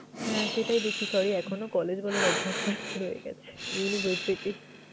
হম সেটাই দেখছি sorry এখনো collage বলার অভ্যেসটা রয়ে গেছে university